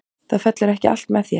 Það fellur ekki allt með þér.